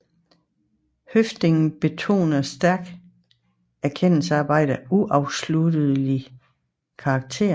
Høffding betoner stærkt erkendelsesarbejdets uafsluttelige karakter